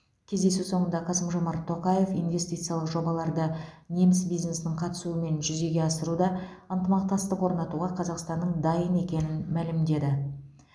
кездесу соңында қасым жомарт тоқаев инвестициялық жобаларды неміс бизнесінің қатысуымен жүзеге асыруда ынтымақтастық орнатуға қазақстанның дайын екенін мәлімдеді